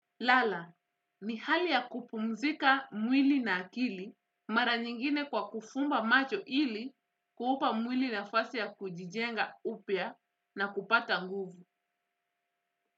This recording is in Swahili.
Lala, ni hali ya kupumzika mwili na akili mara nyingine kwa kufumba macho ili kuupa mwili na fasi ya kujijenga upya na kupata nguvu.